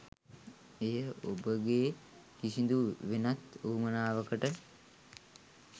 එය ඔබගේ කිසිදු වෙනත් වුවමනාවකට